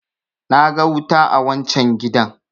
na ga wuta a wancan gidan!